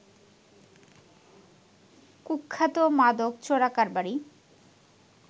কুখ্যাত মাদক চোরাকারবারি